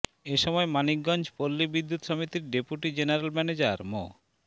এ সময় মানিকগঞ্জ পল্লী বিদ্যুৎ সমিতির ডেপুটি জেনারেল ম্যানেজার মো